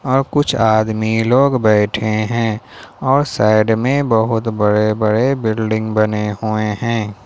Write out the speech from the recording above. और कुछ आदमी लोग बैठे है और साइड में बहुत बड़े - बड़े बिल्डिंग बने हुए है।